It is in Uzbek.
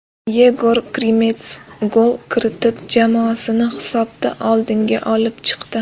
Yegor Krimets gol kiritib, jamoasini hisobda oldinga olib chiqdi.